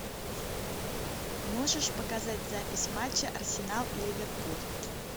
можешь показать запись матча арсенал и ливерпуль